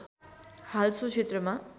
हाल सो क्षेत्रमा